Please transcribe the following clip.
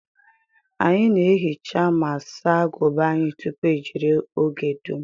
Anyị na ehicha ma saa aguba anyi tupu ejiri oge dum